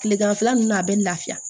Kileganfɛla ninnu na a bɛ lafiya